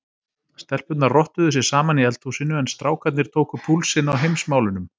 Stelpurnar rottuðu sig saman í eldhúsinu en strákarnir tóku púlsinn á Heimsmálunum.